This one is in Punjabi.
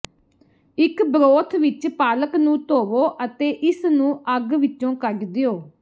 ਇੱਕ ਬਰੋਥ ਵਿੱਚ ਪਾਲਕ ਨੂੰ ਧੋਵੋ ਅਤੇ ਇਸਨੂੰ ਅੱਗ ਵਿੱਚੋਂ ਕੱਢ ਦਿਓ